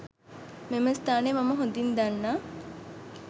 මෙම ස්ථානය මම හොදින් දන්නා